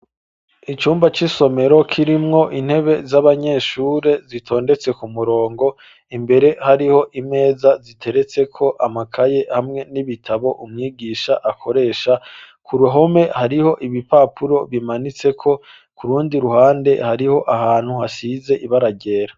Icumba c’isomero, kirimwo intebe, z'abanyeshure, zitondetse ku murongo; imbere, hariho imeza, ziteretseko amakaye, hamwe n'ibitabo, umwigisha akoresha; ku ruhome, hariho ibipapuro bimanitseko; ku rundi ruhande, hariho ahantu, hasize ibara ryera.